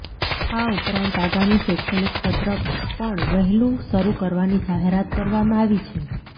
આ ઉપરાંત આગામી શૈક્ષણિક સત્ર પણ વહેલુ શરૂ કરવાની જાહેરાત કરવામાં આવી છે